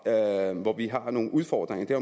dér hvor vi har nogle udfordringer er